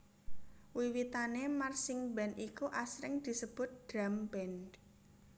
Wiwitane marchingband iku asring disebut drumband